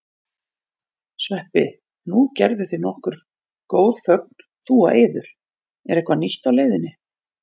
Sveppi, nú gerðuð þið nokkur góð fögn þú og Eiður, er eitthvað nýtt á leiðinni?